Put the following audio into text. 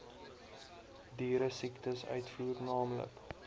dieresiektes uitvoer naamlik